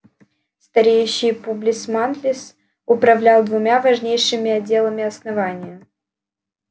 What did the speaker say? стареющий публис манлис управлял двумя важнейшими отделами основания